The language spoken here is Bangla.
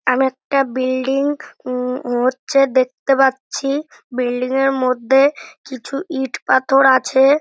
আমি একটা বিল্ডিং উম হচ্ছে দেখতে পাচ্ছি বিল্ডিং -এর মধ্যে কিছু ইট পাথর আছে।